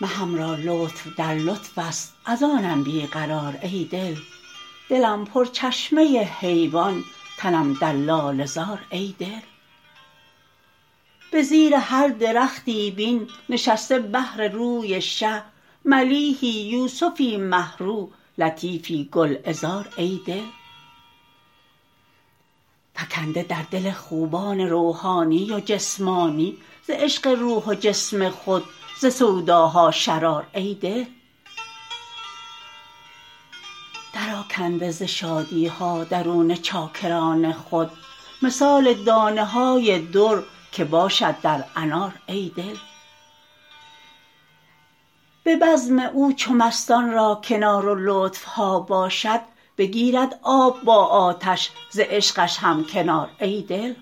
مهم را لطف در لطفست از آنم بی قرار ای دل دلم پرچشمه حیوان تنم در لاله زار ای دل به زیر هر درختی بین نشسته بهر روی شه ملیحی یوسفی مه رو لطیفی گلعذار ای دل فکنده در دل خوبان روحانی و جسمانی ز عشق روح و جسم خود ز سوداها شرار ای دل درآکنده ز شادی ها درون چاکران خود مثال دانه های در که باشد در انار ای دل به بزم او چو مستان را کنار و لطف ها باشد بگیرد آب با آتش ز عشقش هم کنار ای دل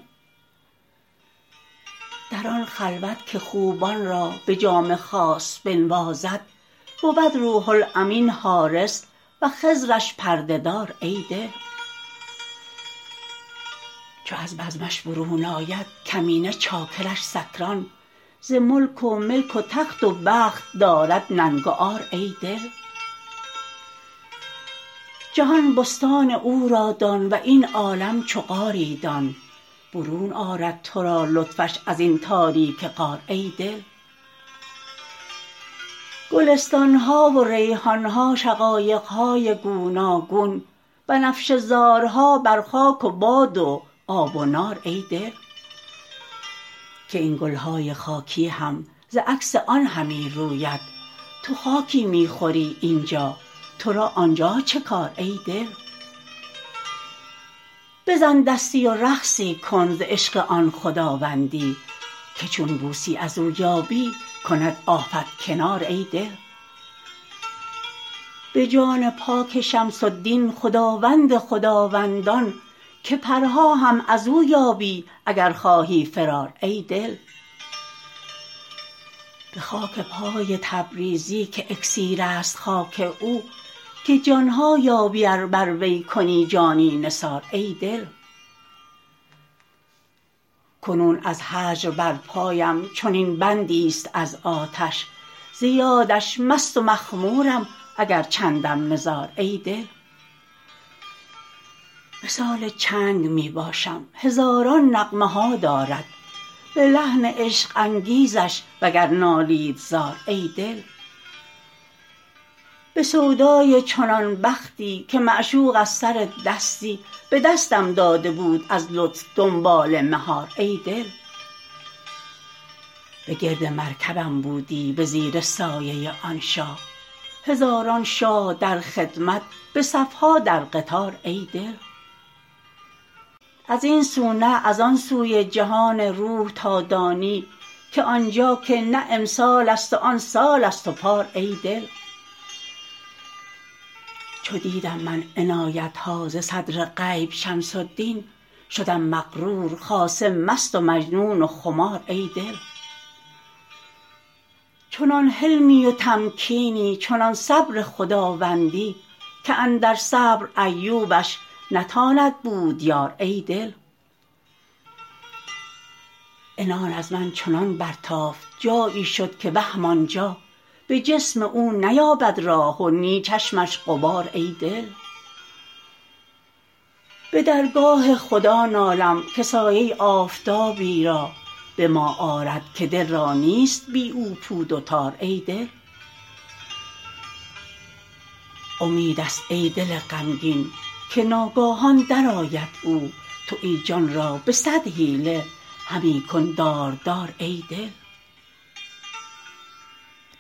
در آن خلوت که خوبان را به جام خاص بنوازد بود روح الامین حارس و خضرش پرده دار ای دل چو از بزمش برون آید کمینه چاکرش سکران ز ملک و ملک و تخت و بخت دارد ننگ و عار ای دل جهان بستان او را دان و این عالم چو غاری دان برون آرد تو را لطفش از این تاریک غار ای دل گلستان ها و ریحان ها شقایق های گوناگون بنفشه زارها بر خاک و باد و آب و نار ای دل که این گل های خاکی هم ز عکس آن همی روید تو خاکی می خوری این جا تو را آن جا چه کار ای دل بزن دستی و رقصی کن ز عشق آن خداوندان که چون بوسی از او یابی کند آفت کنار ای دل به جان پاک شمس الدین خداوند خداوندان که پرها هم از او یابی اگر خواهی فرار ای دل به خاک پای تبریزی که اکسیرست خاک او که جان ها یابی ار بر وی کنی جانی نثار ای دل کنون از هجر بر پایم چنین بندیست از آتش ز یادش مست و مخمورم اگر چندم نزار ای دل مثال چنگ می باشم هزاران نغمه ها دارد به لحن عشق انگیزش وگر نالید زار ای دل به سودای چنان بختی که معشوق از سر دستی به دستم داده بود از لطف دنبال مهار ای دل بگرد مرکبم بودی به زیر سایه آن شاه هزاران شاه در خدمت به صف ها در قطار ای دل از این سو نه از آن سوی جهان روح تا دانی که آن جا که نه امسالست و آن سالست پار ای دل چو دیدم من عنایت ها ز صدر غیب شمس الدین شدم مغرور خاصه مست و مجنون خمار ای دل چنان حلمی و تمکینی چنان صبر خداوندی که اندر صبر ایوبش نتاند بود یار ای دل عنان از من چنان برتافت جایی شد که وهم آن جا به جسم او نیابد راه و نی چشمش غبار ای دل به درگاه خدا نالم که سایه آفتابی را به ما آرد که دل را نیست بی او پود و تار ای دل امیدست ای دل غمگین که ناگاهان درآید او تو این جان را به صد حیله همی کن داردار ای دل